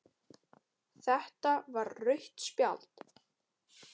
Þetta var rautt spjald